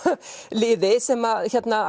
liði sem